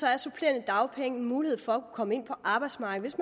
er supplerende dagpenge en mulighed for at kunne komme ind på arbejdsmarkedet